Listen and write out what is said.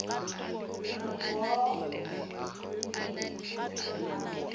re poo o be a